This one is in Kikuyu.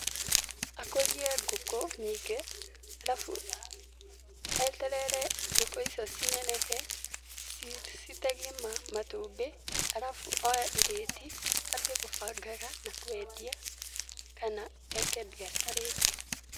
Akũrie ngũkũ nyingĩ, arabu eterere ngũkũ icio cinenehe, citege matumbĩ, arabu oye irĩti athiĩ akĩbangaga na kwendia kana eke mbiacara ĩngĩ.